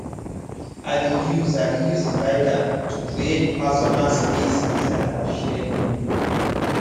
i dey use i dey use divider to create personal space inside our shared room